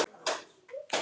Hilmar og Katla.